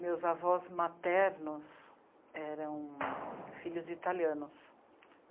Meus avós maternos eram filhos de italianos.